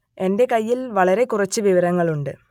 എന്റെ കയ്യിൽ വളരെ കുറച്ച് വിവരങ്ങൾ ഉണ്ട്